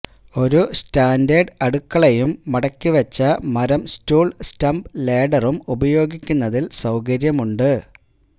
ഒരു സ്റ്റാൻഡേർഡ് അടുക്കളയും മടക്കിവെച്ച മരം സ്റ്റൂൽ സ്റ്റംപ്പ്ലേഡറും ഉപയോഗിക്കുന്നതിൽ സൌകര്യമുണ്ട്